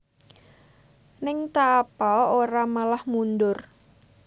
Ng ta Apa ora malah mundur